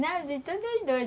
Não, de todos os dois.